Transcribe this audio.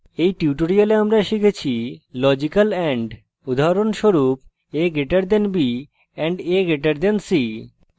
in tutorial আমরা শিখেছি logical and উদাহরণস্বরূপ a> b && a> c